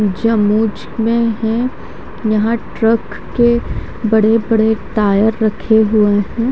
जब मोच में है यहा ट्रक के बड़े बड़े टायर रखे हुए है।